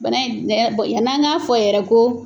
Bana in yann'a ka fɔ yɛrɛ ko